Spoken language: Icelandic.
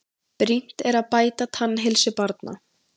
Brýnt að bæta tannheilsu barna